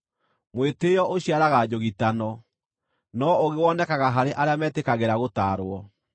Mwĩtĩĩo ũciaraga njũgitano, no ũũgĩ wonekaga harĩ arĩa metĩkagĩra gũtaarwo.